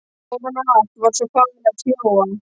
Ofan á allt var svo farið að snjóa.